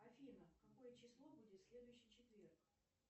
афина какое число будет в следующий четверг